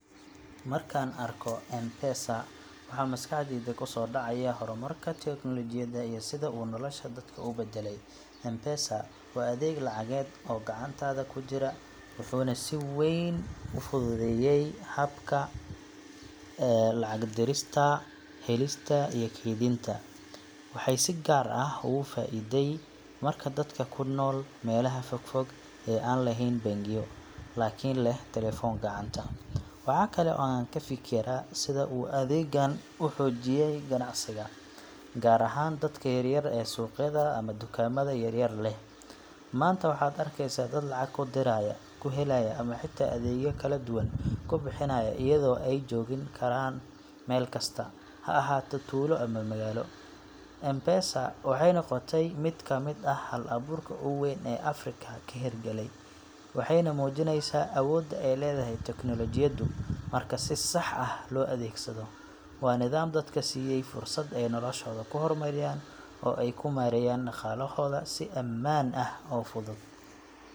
Markaan arko M-Pesa, waxa maskaxdayda kusoo dhacaya horumarka tiknoolajiyadda iyo sida uu nolosha dadka u beddelay. M-Pesa waa adeeg lacageed oo gacantaada ku jira, wuxuuna si weyn u fududeeyay habka lacag dirista, helista, iyo kaydinta. Waxay si gaar ah ugu faa’iiday dadka ku nool meelaha fogfog ee aan lahayn bangiyo, laakiin leh telefoon gacanta. Waxaa kale oo aan ka fikiraa sida uu adeeggan u xoojiyay ganacsiga, gaar ahaan dadka yaryar ee suuqyada ama dukaamada yar yar leh. Maanta waxaad arkeysaa dad lacag ku diraya, ku helaya ama xitaa adeegyo kala duwan ku bixinaya iyadoo ay joogi karaan meel kasta ha ahaato tuulo ama magaalo. M-Pesa waxay noqotay mid ka mid ah hal-abuurka ugu weyn ee Afrika ka hirgalay, waxayna muujineysaa awoodda ay leedahay tiknoolajiyaddu marka si sax ah loo adeegsado. Waa nidaam dadka siiyay fursad ay noloshooda ku horumariyaan oo ay ku maareeyaan dhaqaalahooda si ammaan ah oo fudud.